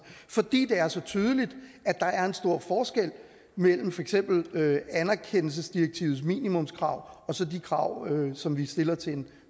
fordi det er så tydeligt at der er en stor forskel mellem for eksempel anerkendelsesdirektivets minimumskrav og så de krav som vi stiller til en